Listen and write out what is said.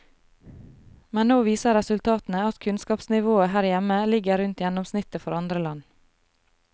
Men nå viser resultatene at kunnskapsnivået her hjemme ligger rundt gjennomsnittet for andre land.